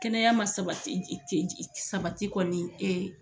Kɛnɛya ma sabati sabati kɔni